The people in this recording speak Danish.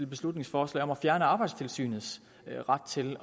beslutningsforslag om at fjerne arbejdstilsynets ret til